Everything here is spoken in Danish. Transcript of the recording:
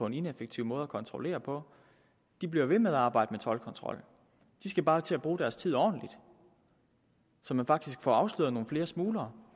en ineffektiv måde at kontrollere på bliver ved med at arbejde med toldkontrol de skal bare til at bruge deres tid ordentligt så man faktisk får afsløret nogle flere smuglere